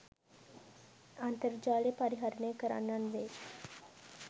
අන්තර්ජාලය පරිහරණය කරන්නන් වේ.